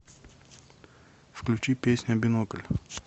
включи песня бинокль